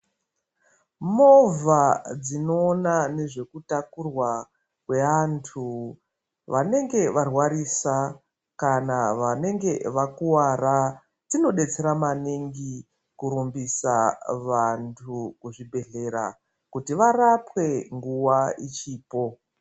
Movha dzinoona ngezvekutakurwa kwevantu vanenge varwarisa kana vanenge vakuwara dzinodetsera maningi kurumbisa vantu kuzvibhedhlera kuti varapwe nguwa ichipo.